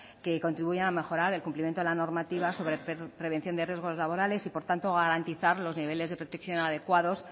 que contribuyan a mejorar el cumplimiento de la normativa sobre prevención de riesgos laborales y por tanto garantizar los niveles de protección adecuados